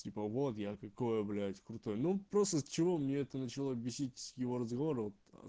типа вот я какой я блять крутой ну просто чего мне это начало бесить с его разговоров